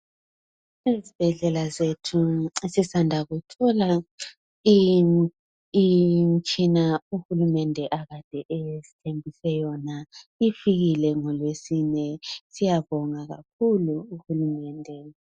Ezibhedlela zethu sisanda kuthola imitshina uhulumende akade esithembise yona . Ifikile ngolweSine siyabonga kakhulu kuhulumende .